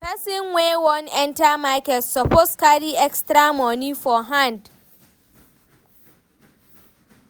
Pesin wey wan enter market suppose carry extra moni for hand.